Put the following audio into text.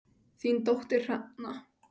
Þín dóttir Hrefna.